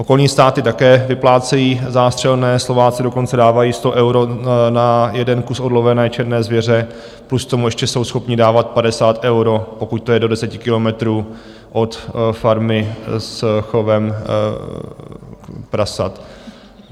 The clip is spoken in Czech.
Okolní státy také vyplácejí zástřelné, Slováci dokonce dávají 100 euro na jeden kus odlovené černé zvěře plus k tomu ještě jsou schopni dávat 50 eur, pokud to je do 10 kilometrů od farmy s chovem prasat.